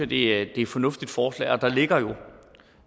det er et fornuftigt forslag og der ligger jo vil